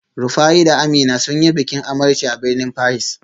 Rufaye da Amina sun yi bikin amarci a birnin Paris